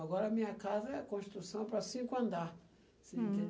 Agora a minha casa é construção para cinco andares. Hm. Você